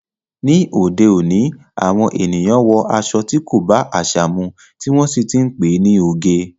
Ni òde òní, àwọn ènìyàn wọ aṣọ tí kò bá àṣà mu, tí wọ́n sì ti ń pe ní oge.